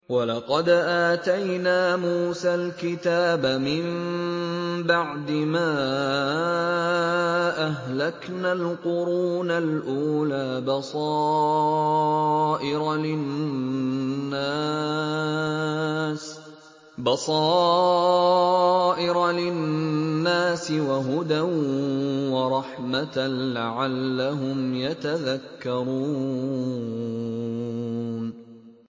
وَلَقَدْ آتَيْنَا مُوسَى الْكِتَابَ مِن بَعْدِ مَا أَهْلَكْنَا الْقُرُونَ الْأُولَىٰ بَصَائِرَ لِلنَّاسِ وَهُدًى وَرَحْمَةً لَّعَلَّهُمْ يَتَذَكَّرُونَ